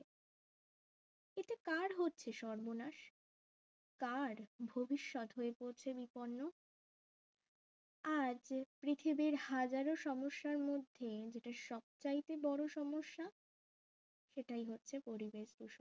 এতে কার হচ্ছে সর্বনাশ কার ভবিষ্যৎ হয়ে পড়ছে বিপন্ন আজ যে পৃথিবীর হাজারো সমস্যার মধ্যে যেটা সব চাইতে বড়ো সমস্যা সেটাই হচ্ছে পরিবেশ দূষণ